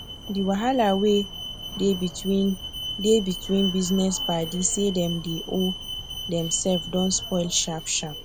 the wahala wey dey between dey between business paddy say dem dey owe dem sef don spoil sharp sharp